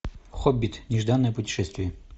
хоббит нежданное путешествие